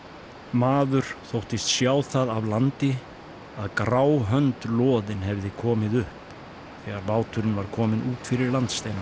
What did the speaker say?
maður þóttist sjá það af landi að grá hönd loðin hefði komið upp þegar báturinn var kominn út fyrir landsteinana